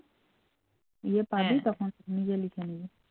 নিজে লিখে নিবি